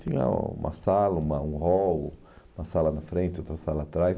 Tinha uma sala, uma um hall, uma sala na frente, outra sala atrás.